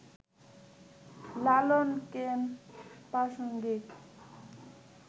লালন কেন প্রাসঙ্গিক